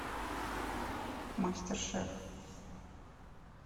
мастер шеф